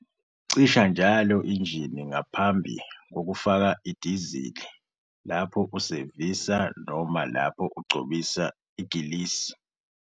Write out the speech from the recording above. Cisha njalo injini ngaphambi kokufaka idizili, lapho usevisa noma lapho ugcobisa igrisi.